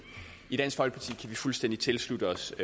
i dansk folkeparti kan vi fuldstændig tilslutte os